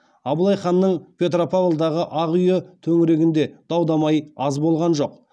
абылай ханның петропавлдағы ақ үйі төңірегінде дау дамай аз болған жоқ